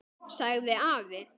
sagði afi.